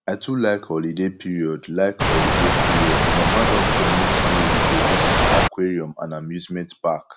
i too like holiday period like holiday period my mama don promise me we go visit aquarium and amusement park